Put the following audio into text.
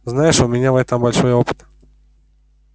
знаешь у меня в этом большой опыт